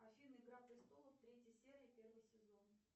афина игра престолов третья серия первый сезон